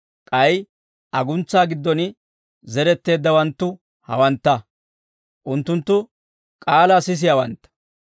K'ay aguntsaa giddon zeretteeddawanttu hawantta; unttunttu k'aalaa sisiyaawantta.